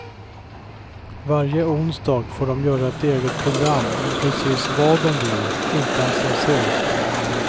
Varje onsdag får de göra ett eget program om precis vad de vill, utan censur.